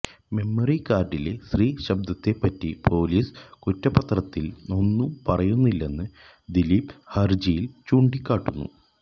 മെമ്മറികാര്ഡിലെ സ്ത്രീ ശബ്ദത്തെപ്പറ്റി പൊലീസ് കുറ്റപത്രത്തില് ഒന്നും പറയുന്നില്ലെന്ന് ദിലീപ് ഹര്ജിയില് ചൂണ്ടിക്കാട്ടുന്നു